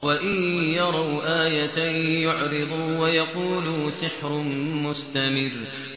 وَإِن يَرَوْا آيَةً يُعْرِضُوا وَيَقُولُوا سِحْرٌ مُّسْتَمِرٌّ